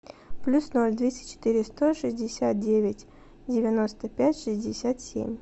плюс ноль двести четыре сто шестьдесят девять девяносто пять шестьдесят семь